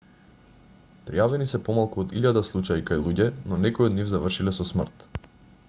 пријавени се помалку од илјада случаи кај луѓе но некои од нив завршиле со смрт